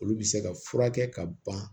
Olu bɛ se ka furakɛ ka ban